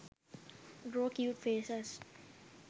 draw cute faces